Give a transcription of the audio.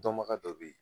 Dɔnbaga dɔ bɛ yen